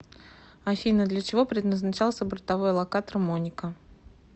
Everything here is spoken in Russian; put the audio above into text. афина для чего предназначался бортовой локатор моника